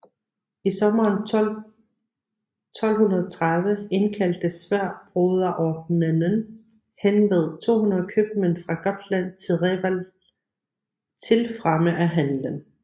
I sommeren 1230 indkaldte Sværdbroderordenen henved 200 købmænd fra Gotland til Reval til fremme af handelen